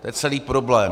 To je celý problém.